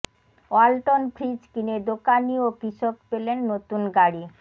Walton fridge কিনে দোকানি ও কৃষক পেলেন নতুন গাড়ি